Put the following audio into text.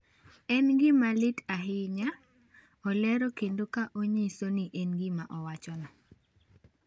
En gima lit ahinya," olero kendo ka onyiso ni en gima owachono.